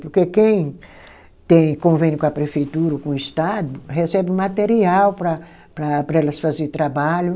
Porque quem tem convênio com a prefeitura ou com o Estado, recebe o material para para elas fazer trabalho.